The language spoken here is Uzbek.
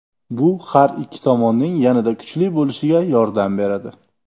Bu har ikki tomonning yanada kuchli bo‘lishiga yordam beradi.